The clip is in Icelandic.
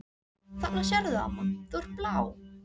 Þarna sérðu amma, þú ert blá.